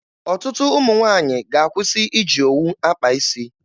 Ọtụtụ ụmụ nwaanyị ga-akwụsị iji owu akpa isi.